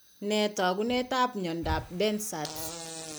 Nee taakunetab myondap Behcet's?